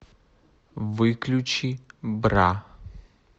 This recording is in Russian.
выключи бра